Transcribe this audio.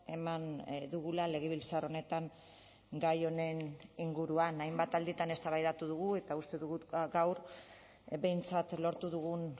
eman dugula legebiltzar honetan gai honen inguruan hainbat alditan eztabaidatu dugu eta uste dugu gaur behintzat lortu dugun